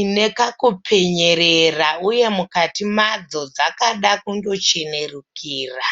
ine kakupenyerera uye mukati madzo dzakada kundochenurukira.